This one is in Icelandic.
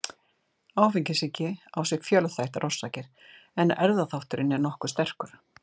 Áfengissýki á sér fjölþættar orsakir en erfðaþátturinn er nokkuð sterkur.